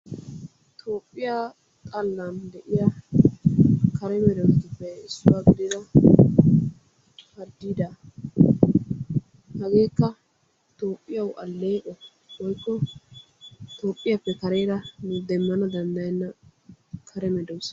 Toophphiya xallan de"iyaa kare medoosatuppe issuwa gidida harddiidaa. Hageekka Toophphiyawu alleeqo woykko Toophphiyaappe kareera nu demmana danddayenna kare medoosa.